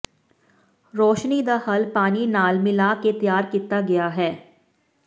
ਰੌਸ਼ਨੀ ਦਾ ਹੱਲ ਪਾਣੀ ਨਾਲ ਮਿਲਾ ਕੇ ਤਿਆਰ ਕੀਤਾ ਗਿਆ ਹੈ